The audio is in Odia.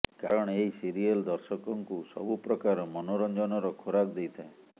କାରଣ ଏହି ସିରିୟଲ୍ ଦର୍ଶକଙ୍କୁ ସବୁ ପ୍ରକାର ମନୋରଞ୍ଜନର ଖୋରାକ୍ ଦେଇଥାଏ